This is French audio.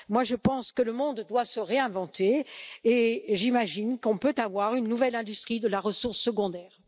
Je pense que le monde doit se réinventer et j'imagine qu'on peut avoir une nouvelle industrie de la ressource secondaire.